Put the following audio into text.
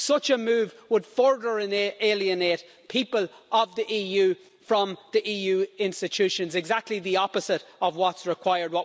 Such a move would further alienate people of the EU from the EU institutions exactly the opposite of what's required.